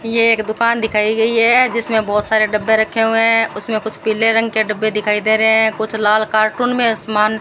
ये एक दुकान दिखाई गई है जिसमें बहोत सारे डब्बे रखे हुए हैं उसमें कुछ पीले रंग के डब्बे दिखाई दे रहे हैं कुछ लाल कार्टून में समान --